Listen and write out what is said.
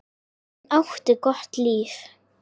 Hann átti gott líf.